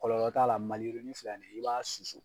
Kɔlɔl t'a la. Maliyirini filɛ nin ye i b'a susu